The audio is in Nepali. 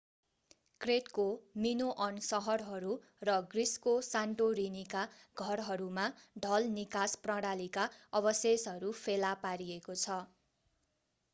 क्रेटको मिनोअन सहरहरू र ग्रिसको सान्टोरिनीका घरहरूमा ढल निकास प्रणालीका अवशेषहरू फेला पारिएको छ